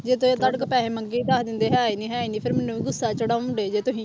ਜੇ ਤੇ ਤੁਹਾਡੇ ਕੋਲੋਂ ਪੈਸੇ ਮੰਗੇ ਕਹਿ ਦਿੰਦੇ ਹੈ ਨੀ ਹੈ ਨੀ ਫਿਰ ਮੈਨੂੰ ਵੀ ਗੁੱਸਾ ਚੜ੍ਹਾਉਂਦੇ ਜੇ ਤੁਸੀਂ।